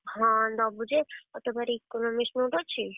ହଁ ଦବୁ ଯେ ଆଉ ତୋ ପାଖରେ Economics note ଅଛି?